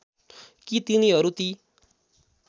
कि तिनीहरू ती